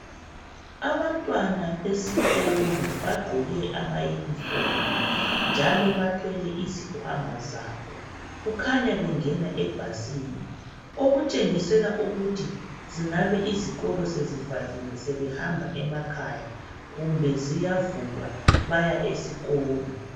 Abantwana besikolo bagqoke amayunifomu njalo bathwele izikhwama zabo kukhanya bengena ebhasini okutshengisela ukuthi zingabe izikolo sezivaliwe sebehamba emakhaya kumbe ziyavulwa baya esikolo.